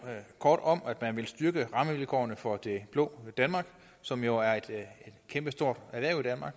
kort om at man vil styrke rammevilkårene for det blå danmark som jo er et kæmpestort erhverv